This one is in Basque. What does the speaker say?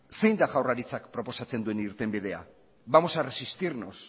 zein da jaurlaritzak proposatzen duen irtenbidea vamos a resistirnos